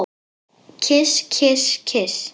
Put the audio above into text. Kyss, kyss, kyss.